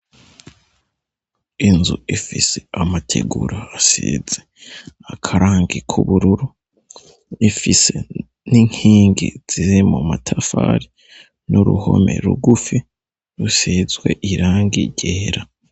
Inzu ifise amategura asize akarangi k'ubururu, ifise n'inkingi ziri mu matafari n'uruhome rugufi rusizwe irangi ryera.